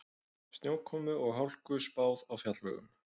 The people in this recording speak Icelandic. Snjókomu og hálku spáð á fjallvegum